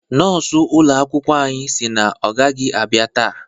Nọọsụ ụlọ akwụkwọ anyị sị na ọ gaghị abịa taa